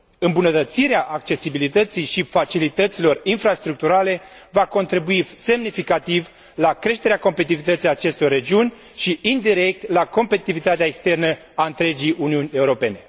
Îmbunătățirea accesibilității și facilităților infrastructurale va contribui semnificativ la creșterea competitivității acestor regiuni și, indirect, la competitivitatea externă a întregii Uniuni Europene.